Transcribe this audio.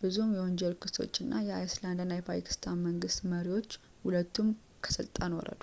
ብዙ የወንጀል ክሶች እና የአይስላንድ እና የፓኪስታን መንግስት መሪዎች ሁለቱም ከስልጣን ወረዱ